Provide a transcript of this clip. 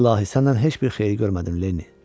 İlahi, səndən heç bir xeyir görmədim, Lenni.